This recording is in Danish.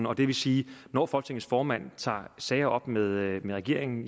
og det vil sige at når folketingets formand tager sager op med regeringen